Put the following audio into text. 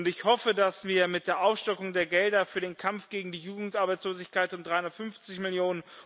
Ich hoffe, dass wir mit der Aufstockung der Gelder für den Kampf gegen die Jugendarbeitslosigkeit um 350 Mio.